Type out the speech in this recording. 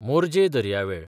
मोरजे दर्यावेळ